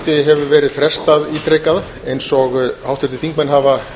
þingfundi hefur verið frestað ítrekað eins og háttvirtir þingmenn hafa